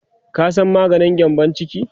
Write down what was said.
ka San maganin gyambun ciki?